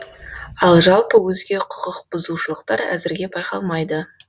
ал жалпы өзге құқықбұзушылықтар әзірге байқалмайды